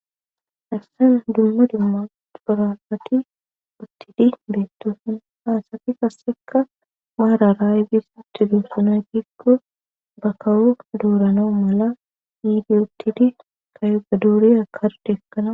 Hassena dumma dumma duoralati uttidi beettoosun haasati kassekka maara raaybis uttidu sunaytikko ba kawu duuranao mala yiidi uttidi kayoga duuri a kar deekkana